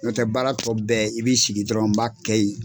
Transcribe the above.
N'o tɛ baara tɔ bɛɛ i b'i sigi dɔrɔn n b'a kɛ ye.